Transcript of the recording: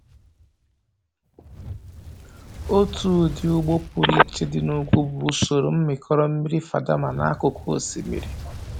Otu ụdị ugbo pụrụ iche dị na ugwu bụ usoro mmịkọrọ mmiri Fadama n'akụkụ osimiri.